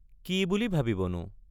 কি বুলি ভাবিব নো?